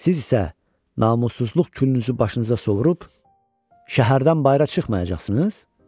Siz isə namussuzluq külünüzü başınıza sovurub, şəhərdən bayıra çıxmayacaqsınız?